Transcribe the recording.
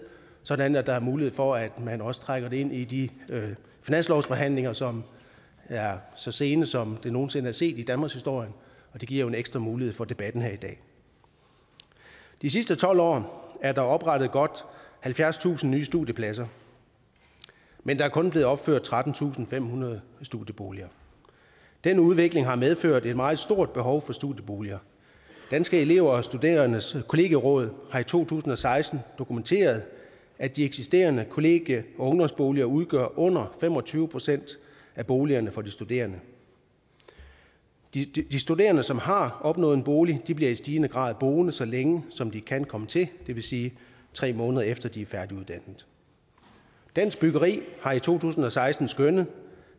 sådan at der er mulighed for at man også trækker det ind i de finanslovsforhandlinger som er så sene som det nogen sinde er set i danmarkshistorien og det giver jo en ekstra mulighed for debatten her i dag de sidste tolv år er der oprettet godt halvfjerdstusind nye studiepladser men der er kun blevet opført trettentusinde og femhundrede studieboliger den udvikling har medført et meget stort behov for studieboliger danske elever og studerendes kollegieråd har i to tusind og seksten dokumenteret at de eksisterende kollegie og ungdomsboliger udgør under fem og tyve procent af boligerne for de studerende de studerende som har opnået en bolig bliver i stigende grad boende så længe som de kan komme til det vil sige i tre måneder efter at de er færdiguddannet dansk byggeri har i to tusind og seksten skønnet